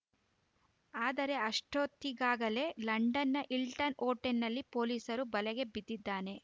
ಆದರೆ ಅಷ್ಟೊತ್ತಿಗಾಗಲೇ ಲಂಡನ್‌ನ ಹಿಲ್ಟನ್‌ ಹೋಟೆಲ್‌ನಲ್ಲಿ ಪೊಲೀಸರ ಬಲೆಗೆ ಬಿದ್ದಿದ್ದಾನೆ